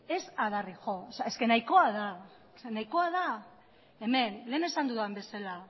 ez adarrik jo nahikoa da nahikoa da hemen lehen esan dudan bezala